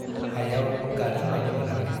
हायाव गादों बाइदि मोनाखै।